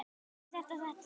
Er þetta. er þetta sterkt?